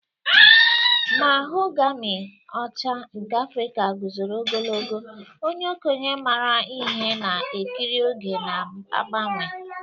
Mahogami ọcha nke Afrika guzoro ogologo, onye okenye maara ihe na-ekiri oge na-agbanwe.